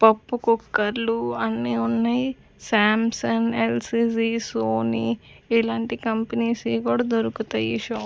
పప్పు కుక్కర్లు అన్నీ ఉన్నాయి సాంసంగ్ ఎల్_సి_జి సోనీ ఇలాంటి కంపెనీస్ వి కూడా దొరుకుతాయి ఈ షాప్ --